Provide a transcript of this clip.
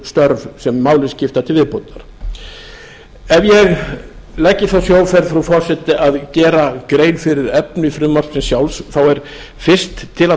störf sem máli skipta til viðbótar ef ég legg í þá sjóferð frú forseti að gera grein fyrir efni frumvarpsins sjálfs þá er fyrst til að